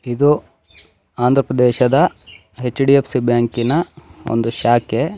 ಇದು ಆಂದ್ರ ಪ್ರದೇಶದ ಹೆಚ್_ಡಿ_ಎಫ್_ಸಿ ಬ್ಯಾಂಕಿನ ಒಂದು ಶಾಖೆ.